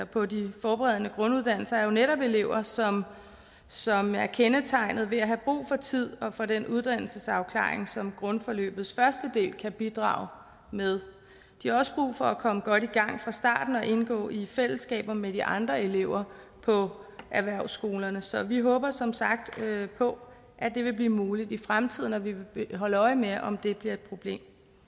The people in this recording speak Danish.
på de forberedende grunduddannelser er jo netop elever som som er kendetegnet ved at have brug for tid og for den uddannelsesafklaring som grundforløbets første del kan bidrage med de har også brug for at komme godt i gang fra starten og indgå i fællesskaber med de andre elever på erhvervsskolerne så vi håber som sagt på at det vil blive muligt i fremtiden og vi vil holde øje med om det bliver et problem